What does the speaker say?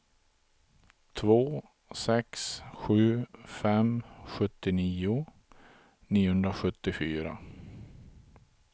två sex sju fem sjuttionio niohundrasjuttiofyra